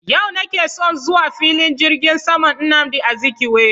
Yau nake son zuwa filin jirgin saman nnamdi Azikiwe